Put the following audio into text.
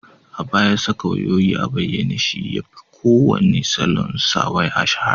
A baya, saka wayayoyi a bayyane shi yafi kowane salon sa waya shahara